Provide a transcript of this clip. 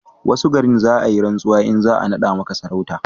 wasu garin, za a yi rantsuwa in za a nada maka sarauta